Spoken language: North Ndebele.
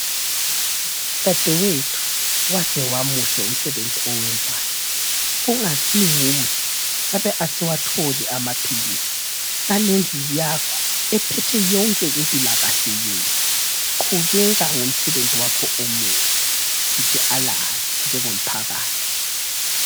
Dadewethu waze wamuhle umsebenzi owenzayo. Kungasi nguwe, ngabe asiwatholi amaphilisi. Ngale ndlu yakho ephethe yonke impilakahle yethu. Qhubeka ngo msebenzi wakho omuhle. Sithi alala! Njengo mphakathi.